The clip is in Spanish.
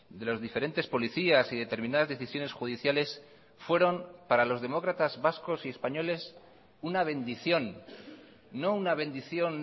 de los diferentes policías y determinadas decisiones judiciales fueron para los demócratas vascos y españoles una bendición no una bendición